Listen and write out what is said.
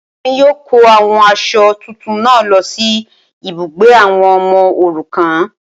Wọn yíò kó àwọn aṣọ tuntun náà lọ sí ibùgbé àwọn ọmọ òrukàn